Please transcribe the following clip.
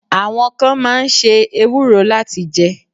Àwọn kan máa ń ṣe ewúro láti jẹ́.